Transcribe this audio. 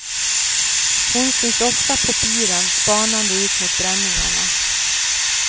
Hon syns ofta på piren spanande ut mot bränningarna.